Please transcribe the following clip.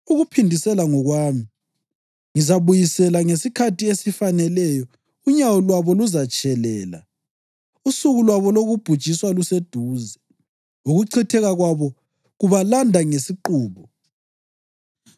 Ukuphindisela ngokwami; ngizabuyisela. Ngesikhathi esifaneleyo unyawo lwabo luzatshelela; usuku lwabo lokubhujiswa luseduze, ukuchitheka kwabo kubalanda ngesiqubu.’